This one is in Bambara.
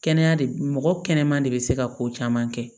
Kɛnɛya de mɔgɔ kɛnɛman de bɛ se ka ko caman kɛ